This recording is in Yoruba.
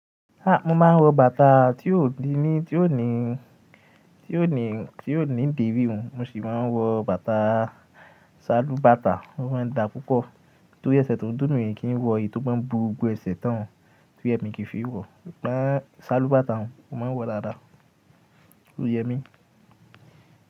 Ah! Mo máa ń wọ bàtá tí ò dín ní, tí ò ní, tí ò ní, tí ò ní dírí run. Mo ṣì máa ń wọ bàtá, ṣálúbàtà, ó máa ń dáa púpọ̀. Torí ẹsẹ̀ tó ń dúní mi kì í wọ èyí tó máa ń bú gbogbo ẹsẹ̀ tán tí Yẹmí kì í fi wọ. Ṣálúbàtà hun, mo máa ń wọ̀ dáadáa, Oyẹ̀mí.